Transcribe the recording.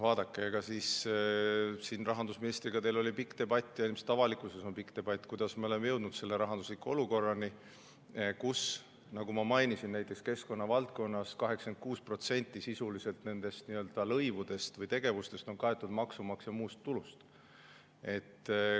Vaadake, rahandusministriga teil oli pikk debatt ja ilmselt avalikkuses käib debatt selle üle, kuidas me oleme jõudnud sellise rahandusliku olukorrani, kus, nagu ma mainisin, näiteks keskkonna valdkonnas sisuliselt 86% lõivudest või tegevustest on kaetud maksumaksja muust tulust.